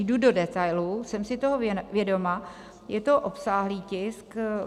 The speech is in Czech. Jdu do detailů, jsem si toho vědoma, je to obsáhlý tisk.